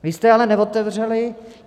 Vy jste ale neotevřeli.